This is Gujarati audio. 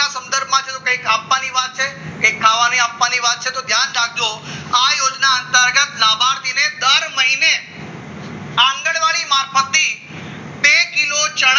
સંદર્ભમાં કંઈ આપવાની વાત છે કે ખાવાનું આપવાની વાત છે તો ધ્યાન રાખજો આ યોજના અંતર્ગત નાબાજીને દર મહિને આ આંગણવાડી મારફત થી બે કિલો ચણા